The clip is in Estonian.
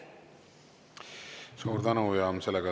Suur tänu!